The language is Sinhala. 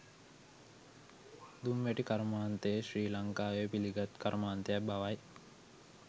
දුම්වැටි කර්මාන්තය ශ්‍රී ලංකාවේ පිළිගත් කර්මාන්තයක් බවයි